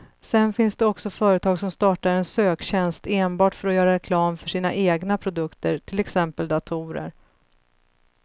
Sedan finns det också företag som startar en söktjänst enbart för att göra reklam för sina egna produkter, till exempel datorer.